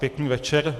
Pěkný večer.